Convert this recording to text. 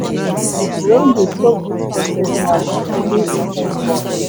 I wan dey chop dis roasted yam as I dey inside bus.